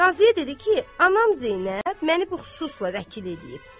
Qaziyə dedi ki, anam Zeynəb məni bu xususla vəkil eləyib.